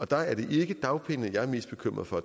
der er det ikke dagpengene jeg er mest bekymret for